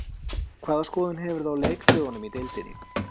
Hvaða skoðun hefurðu á leikdögunum í deildinni?